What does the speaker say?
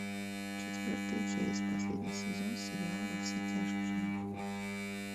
четвертая часть последний сезон сериал во все тяжкие